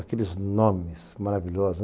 Aqueles nomes maravilhosos.